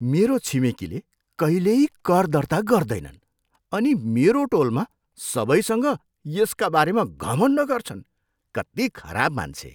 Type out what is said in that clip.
मेरो छिमेकीले कहिल्यै कर दर्ता गर्दैनन् अनि मेरो टोलमा सबैसँग यसका बारेमा घमण्ड गर्छन्। कति खराब मान्छे!